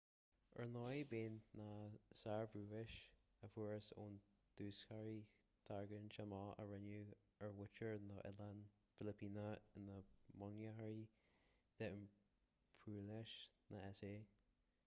ar ndóigh bheadh ​​na sárbhrabúis a fuarthas ón dúshaothrú tarraingthe amach a rinneadh ar mhuintir na noileán filipíneach ina mbunghnóthachain d'impiriúlachas na s.a